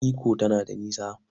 Ikko tana da nisa.